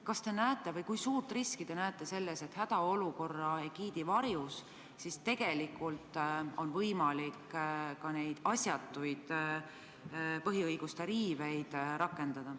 Kas ja kui suurt riski te näete selles, et hädaolukorra egiidi varjus on tegelikult võimalikud ka need asjatud põhiõiguste riived?